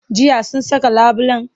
Jiya sun saka labulen?